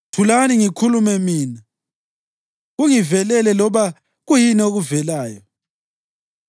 Thulani ngikhulume mina; kungivelele loba kuyini okuvelayo.